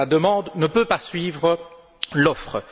La demande ne peut pas suivre l'offre.